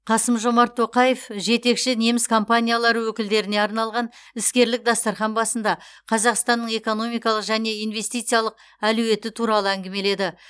қасым жомарт тоқаев жетекші неміс компаниялары өкілдеріне арналған іскерлік дастархан басында қазақстанның экономикалық және инвестициялық әлеуеті туралы әңгімеледі